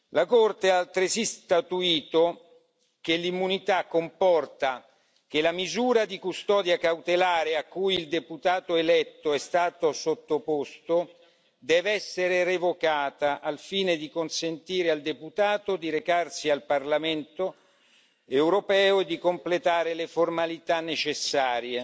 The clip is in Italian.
La Corte ha altresì statuito che l'immunità comporta che la misura di custodia cautelare a cui il deputato eletto è stato sottoposto dev'essere revocata, al fine di consentire al deputato di recarsi al Parlamento europeo e di completare le formalità necessarie.